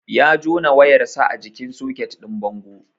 Ya jona wayar sa a jikin soket din bango